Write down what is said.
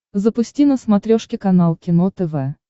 запусти на смотрешке канал кино тв